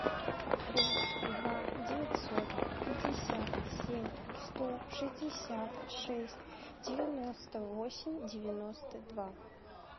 плюс два девятьсот пятьдесят семь сто шестьдесят шесть девяносто восемь девяносто два